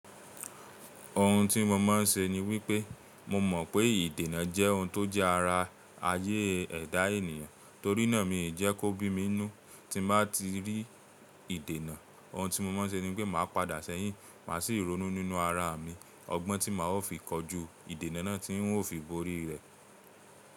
Ohun tí mo máa ń se ni wípé mo mọ̀ pé ìdènà jẹ́ ohun tó jẹ́ ara ayé ẹ̀dá ènìyàn, torínà mi ì jẹ́ kó bí mi nu tí n bá ti rí ìdènà. Ohun tí mo máa ń ṣe ni wípé màá padà sẹ́yìn, màá sì ronú nínú ara mi ọgbọ́n tí màá ó fi kọjú ìdènà náà tí ń ó fi borí rẹ̀.